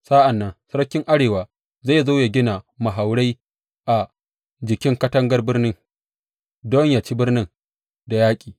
Sa’an nan sarkin arewa zai zo ya gina mahaurai a jikin katagar birni don yă ci birnin da yaƙi.